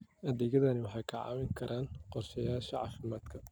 Adeegyadani waxay kaa caawin karaan qorshayaasha caafimaadka.